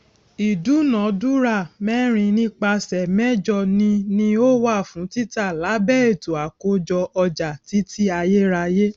ìdúnàdúrà mẹrin nípasẹ méjọ ni ni ó wà fún títa lábẹ ètò àkójọ ọjà títí ayérayé